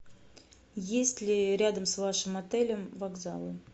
есть ли рядом с вашим отелем вокзалы